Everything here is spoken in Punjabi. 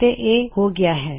ਤੇ ਇਹ ਹੋ ਗਇਆ ਹੈ